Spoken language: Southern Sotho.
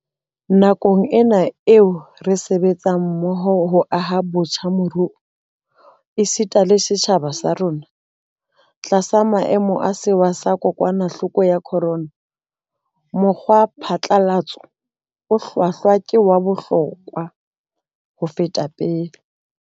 Nakong ena eo re sebetsang mmoho ho aha botjha moruo, esita le setjhaba sa rona, tlasa maemo a sewa sa kokwana hloko ya khorona, mokgwa phatlalatso o hlwahlwa ke wa bohlokwa le ho feta pele.